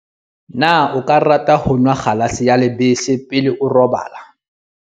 na o ka rata ho nwa kgalase ya lebese pele o robala